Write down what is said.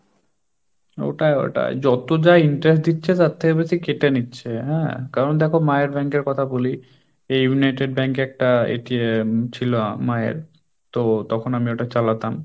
ওটাই ওটাই যত যা interest দিচ্ছে তার থেকে বেশি কেটে নিচ্ছে, হ্যাঁ কারণ দেখো মায়র bank এর কথা বলি এই United bankএ একটা ছিল মায়ের তো তখন আমি ওটা চালাতাম,